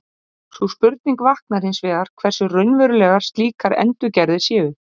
Sú spurning vaknar hins vegar hversu raunverulegar slíkar endurgerðir séu.